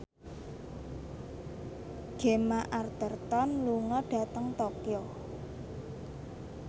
Gemma Arterton lunga dhateng Tokyo